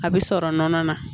A bɛ sɔrɔ nɔnɔ na